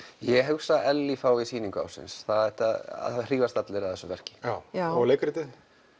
ég hugsa að Ellý fái sýning ársins það hrífast allir af þessu verlki og leikritið